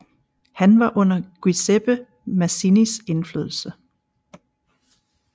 Han var under Giuseppe Mazzinis indflydelse